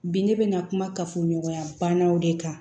Bi ne bɛ na kuma kafoɲɔgɔnya bannaw de kan